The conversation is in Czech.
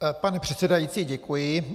Pane předsedající, děkuji.